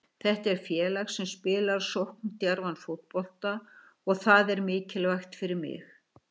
Þetta er félag sem spilar sókndjarfan fótbolta og það er mikilvægt fyrir mig.